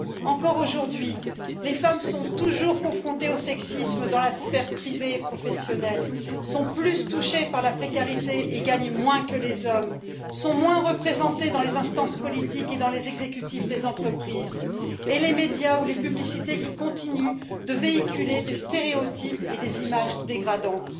Encore aujourd'hui, les femmes sont toujours confrontées au sexisme dans la sphère privée et professionnelle, sont plus touchées par la précarité et gagnent moins que les hommes, sont moins représentées dans les instances politiques et dans les exécutifs des entreprises, et les médias ou les publicités continuent de véhiculer des stéréotypes et des images dégradantes.